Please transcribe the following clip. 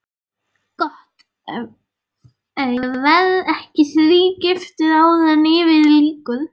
Gott ef ég verð ekki þrígiftur áður en yfir lýkur.